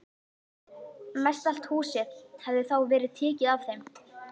Mestallt húsið hafði þá verið tekið af þeim.